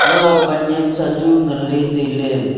ema pan nyem sachu ngan le tai le.